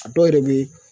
A dɔw yɛrɛ bɛ yen